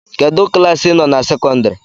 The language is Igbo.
Kedụ klaasị ị nọ na sekọndịrị?